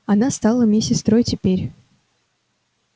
она стала мне сестрой теперь